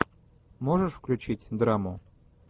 можешь включить драму